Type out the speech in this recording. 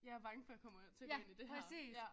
Jeg er bange for jeg kommer til at gå ind i det her ja